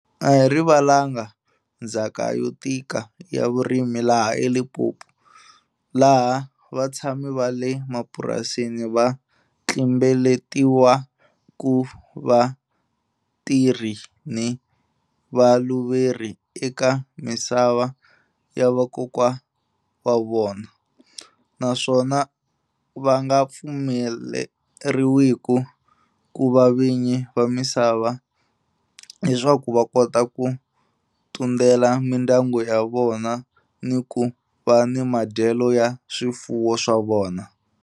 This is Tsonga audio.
A hi rivalanga ndzhaka yo tika ya vurimi laha Limpopo, laha vatshami va le mapurasini a va tlimbeletiwa ku va vatirhi ni valuveri eka misava ya vakokwa wa vona, naswona va nga pfumeleriwiku ku va vinyi va misava leswaku va kota ku tundela mindyangu ya vona ni ku va ni madyelo ya swifuwo swa vona.